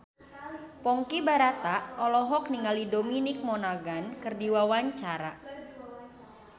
Ponky Brata olohok ningali Dominic Monaghan keur diwawancara